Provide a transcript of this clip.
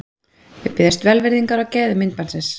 Við biðjumst velvirðingar á gæðum myndbandsins.